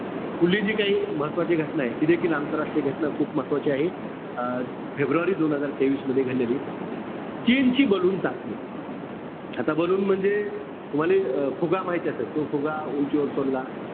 पुढली जी काई महत्वाची घटना आहे, ते देखील आंतरराष्ट्रीय घटना खूप महत्वाची आहे. अं फेब्रुवारी दोन हजार तेवीस मध्ये घडलेली. चीनची ballon चाचणी. आता ballon म्हणजे, तुम्हाला हे फुगा माहिती असेल. तो फुगा उंचीवर सोडला,